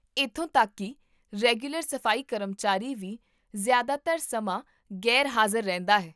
ਇੱਥੋਂ ਤੱਕ ਕੀ ਰੈਗੂਲਰ ਸਫ਼ਾਈ ਕਰਮਚਾਰੀ ਵੀ ਜ਼ਿਆਦਾਤਰ ਸਮਾਂ ਗ਼ੈਰ ਹਾਜ਼ਰ ਰਹਿੰਦਾ ਹੈ